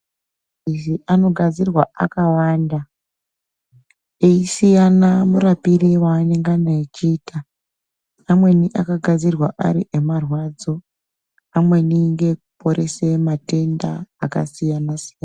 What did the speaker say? Maphirizi anogadzirwa akawanda ,eisiyana murapire weanengana echiita. Amweni akagadzirwa ari emarwadzo. Amweni ngeekuporese matenda akasiyana-siyana.